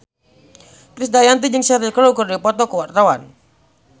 Krisdayanti jeung Cheryl Crow keur dipoto ku wartawan